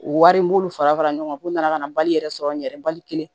Wari n b'olu fara fara ɲɔgɔn kan k'u nana ka na bali yɛrɛ sɔrɔ n yɛrɛ bali kelen